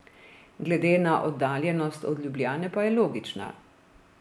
Glede na oddaljenost od Ljubljane pa je logična.